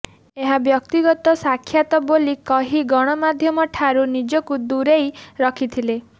ଏହା ବ୍ୟକ୍ତିଗତ ସାକ୍ଷାତ ବୋଲି କହି ଗଣମାଧ୍ୟମଠାରୁ ନିଜକୁ ଦୂରେଇ ରଖିଥିଲେ